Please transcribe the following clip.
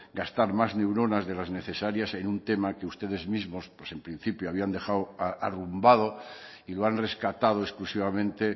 gastar más neuronas de las necesarias en un tema que ustedes mismos en principio habían dejado arrumbado y lo han rescatado exclusivamente